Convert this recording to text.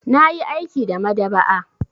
Na yi aiki a maɗaba'a.